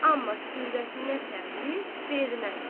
Amma surətinə təğyir vermədi.